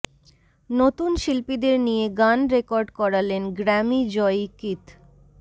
নতুন শিল্পীদের নিয়ে গান রেকর্ড করালেন গ্র্যামি জয়ী কিথ